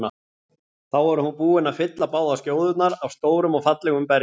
Þá var hún búin að fylla báðar skjóðurnar af stórum og fallegum berjum.